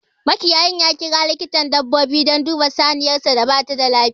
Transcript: Makiyayin ya kira likitan dabbobi dan duba saniyarsa da bata da lafiya